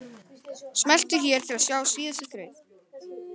Smelltu hér til að sjá síðustu þraut.